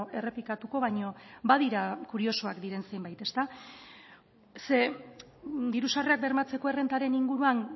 errepikatuko baina badira kuriosoak diren zenbait diru sarrerak bermatzeko errentaren inguruan